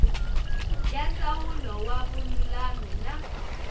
ya ndzawulo ya vululami na